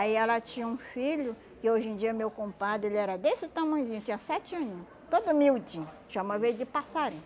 Aí ela tinha um filho, que hoje em dia, meu compadre, ele era desse tamanhozinho, tinha sete aninho, todo miudinho, chamava ele de passarinho.